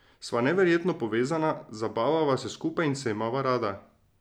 Sva neverjetno povezana, zabavava se skupaj in se imava rada.